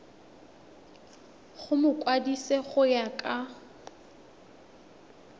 go mokwadise go ya ka